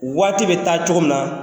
Waati bɛ taa cogo min na,